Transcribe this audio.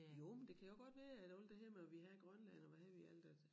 Jo men det kan jo godt være at alt det her med at vil have og hvad ved jeg alt at